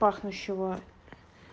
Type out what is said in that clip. пахнущего